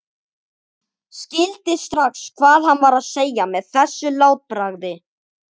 Skildi strax hvað hann var að segja með þessu látbragði.